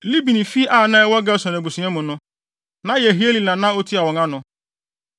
Libni fi a na ɛwɔ Gerson abusua mu no, na Yehieli na na otua wɔn ano.